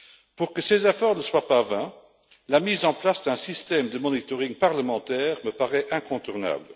Pour que ces efforts ne soient pas vains, la mise en place d'un système de contrôle parlementaire me paraît incontournable.